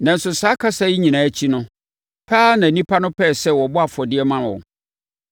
Nanso, saa kasa yi nyinaa akyi no, pɛ ara na nnipa no pɛɛ sɛ wɔbɔ afɔdeɛ ma wɔn.